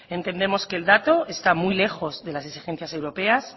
entendemos que el dato está muy lejos de las exigencias europeas